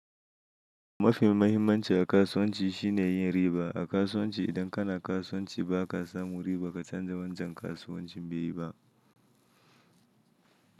Mafi mahimmanci a kasuwanci shine yin riba. A kasuwanci idan kana kasuwanci ba ka samu riba ka canja wancan kasuwancin bai yi ba.